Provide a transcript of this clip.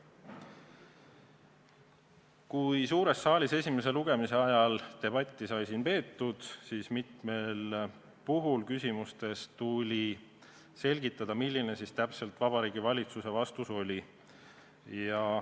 Kui suures saalis sai esimese lugemise ajal debatti peetud, siis mitmel puhul tuli küsimustele vastates selgitada, milline siis täpselt Vabariigi Valitsuse vastus oli.